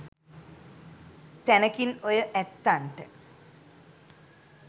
තැනකින් ඔය ඇත්තන්ට